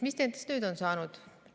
Mis nendest nüüd on saanud?